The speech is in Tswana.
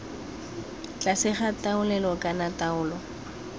tlase ga taolelo kana taolo